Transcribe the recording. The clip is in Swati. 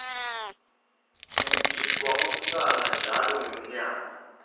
kugidvwa umhlanga njalo ngenmyaka